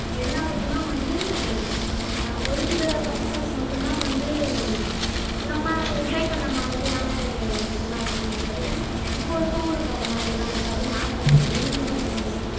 என்னாருக்கும்னா வந்து ஆஹ் ஒரு சில பசங்களுக்கு மட்டும்தான் வந்து நம்ம enjoy பண்ண மாதிரியான இதெல்லாம் இருக்குமே தவிர இப்போ இருக்குறவங்களுக்கு அது மாதிரிலாம் இருக்காது நான் நினைக்கிறேன் நீங்க சொல்லுங்க சண்முகப்பிரியா